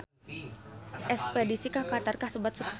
Espedisi ka Qatar kasebat sukses